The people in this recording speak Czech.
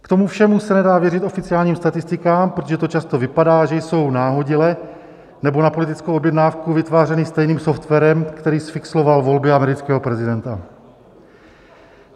K tomu všemu se nedá věřit oficiálním statistikám, protože to často vypadá, že jsou nahodile nebo na politickou objednávku vytvářeny stejným softwarem, který zfixloval volby amerického prezidenta.